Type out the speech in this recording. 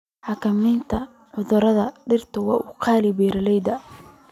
Xakamaynta cudurada dhirta waa qaali beeralayda.